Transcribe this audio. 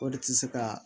O de tɛ se ka